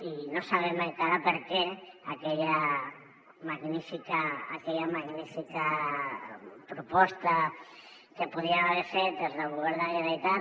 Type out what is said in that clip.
i no sabem encara per què aquella magnífica proposta que podríem haver fet des del govern de la generalitat